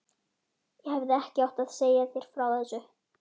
Ég hefði ekki átt að segja þér frá þessu